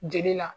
Jeli la